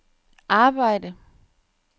arbejde